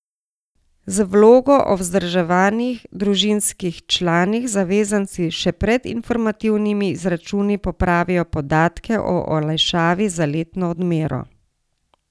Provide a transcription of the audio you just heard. Z vlogo o vzdrževanih družinskih članih zavezanci še pred informativnimi izračuni popravijo podatke o olajšavi za letno odmero.